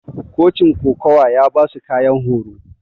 cochin ƙokawa ya basu ƙayan horo.